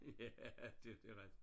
Ja det det er rigtigt